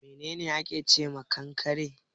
Menene ake ce ma kankare.